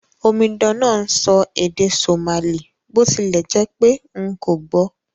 Omidan náà n sọ èdè Somali bó tilẹ̀ jẹ́pé n kò gbò